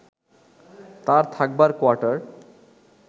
তার থাকবার কোয়ার্টার